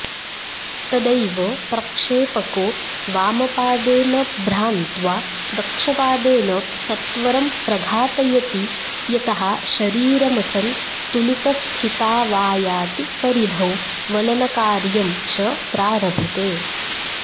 तदैव प्रक्षेपको वामपादेन भ्रान्त्वा दक्षपादेन सत्वरं प्रघातयति यतः शरीरमसन्तुलितस्थितावायाति परिधौ वलनकार्यं च प्रारभते